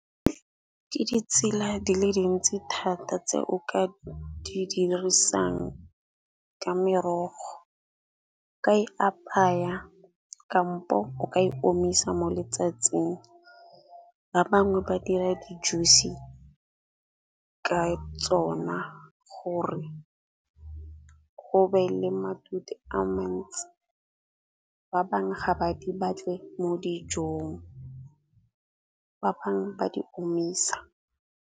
Ke ditsela di le dintsi thata tse o ka di dirisang ka merogo. Ka e apaya, kampo o ka e omisa mo letsatsing. Ba bangwe ba dira di juice ka tsona gore go be le matute a mantsi, ba bangwe ga ba di batle mo dijong, ba bangwe ba di omisa.